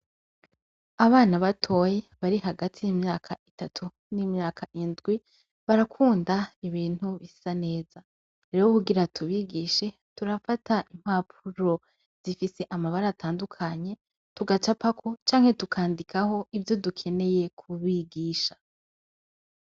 Abana batoyi bari hagati y' imyaka itatu n' imyaka indwi, birakunda ibintu bisa neza. Rero kugira tubigishe ,turafata impapuro zifise amabara atandukanye, tugacapako canke tukandikaho ivyo dukeneye kubigusha.